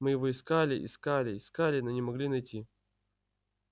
мы его искали искали искали но не могли найти